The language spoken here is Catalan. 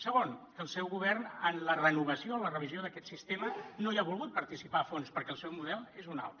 segon que el seu govern en la renovació en la revisió d’aquest sistema no hi ha volgut participar a fons perquè el seu model és un altre